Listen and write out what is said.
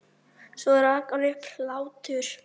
Svo rak hann upp hlátur.